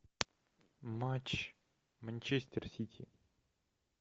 матч манчестер сити